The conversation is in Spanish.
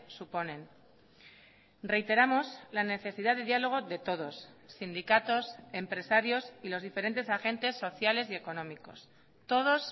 suponen reiteramos la necesidad de diálogo de todos sindicatos empresarios y los diferentes agentes sociales y económicos todos